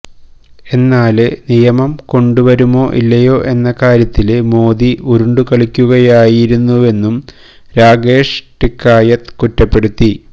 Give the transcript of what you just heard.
എന്നാല് നിയമം കൊണ്ടുവരുമോ ഇല്ലയോ എന്ന കാര്യത്തില് മോദി ഉരുണ്ടുകളിക്കുകയായിരുന്നുവെന്നും രാകേഷ് ടിക്കായത്ത് കുറ്റപ്പെടുത്തി